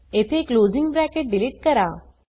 येथे closing bracket delete करा